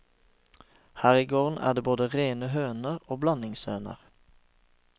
Her i gården er det både rene høner og blandingshøner.